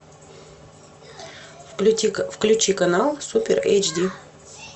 включи канал супер эйч ди